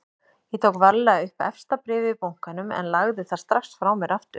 Ég tók varlega upp efsta bréfið í bunkanum en lagði það strax frá mér aftur.